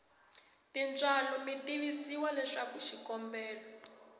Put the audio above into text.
tintswalo mi tivisiwa leswaku xikombelo